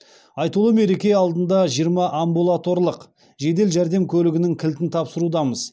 айтулы мереке алдында жиырма амбулаторлық жедел жәрдем көлігінің кілтін тапсырудамыз